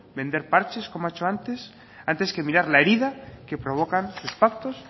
vender parches como ha hecho antes antes que mirar la herida que provocan sus pactos